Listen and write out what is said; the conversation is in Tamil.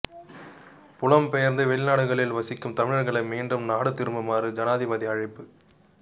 புலம் பெயர்ந்து வெளிநாடுகளில் வசிக்கும் தமிழர்களை மீண்டும் நாடு திரும்புமாறு ஜனாதிபதி அழைப்பு